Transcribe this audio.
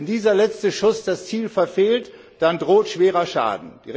Wenn dieser letzte Schuss das Ziel verfehlt, dann droht schwerer Schaden.